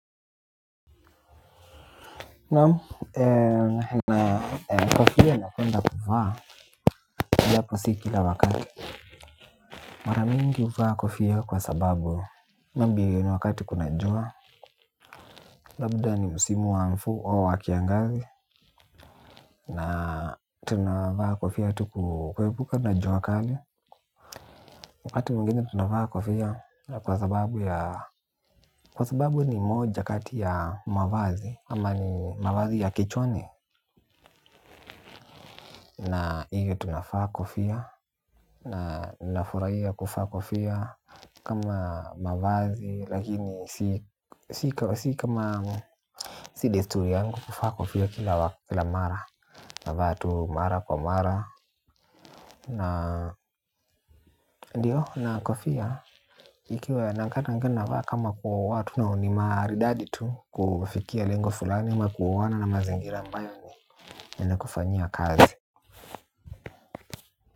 Naam, kofia napenda kuvaa, japo si kila wakati. Mara mingi mimi huvaa kofia kwa sababu maybe ni wakati kuna jua. Labda ni msimu wa mvua kiangazi, tunavaa kofia kuhepuka jua kali. Wakati mwingine tunavaa kofia kwa sababu ni moja kati ya mavazi ya kichwani. Na hivyo tunavaa kofia. Nafurahia kuvaa kofia kama mavazi, lakini si desturi yangu kuvaa kofia kila mara. Navaa tu mara kwa mara ndio na kofia. Ikiwe na kata nkena vata kama kwa watu na unimari daditu Kufikia lengo fulani ma kuwana na mazingira ambayo yanakufanyia kazi.